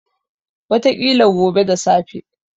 Wataƙila gobe da safe.